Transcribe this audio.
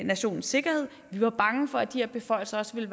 nationens sikkerhed vi var bange for at de her beføjelser også ville